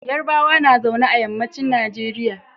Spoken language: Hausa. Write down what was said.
Yarbawa na zaune a yammacin Nigeria.